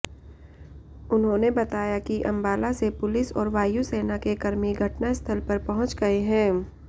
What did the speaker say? उन्होंने बताया कि अंबाला से पुलिस और वायुसेना के कर्मी घटनास्थल पर पहुंच गए हैं